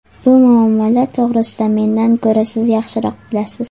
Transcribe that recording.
Bu muammolar to‘g‘risida mendan ko‘ra siz yaxshiroq bilasiz.